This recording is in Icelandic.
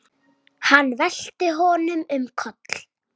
Hann velti honum um koll.